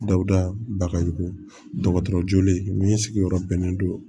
Dawuda bagajugulen sigiyɔrɔ bɛnnen don